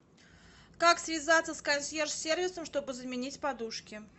как связаться с консьерж сервисом чтобы заменить подушки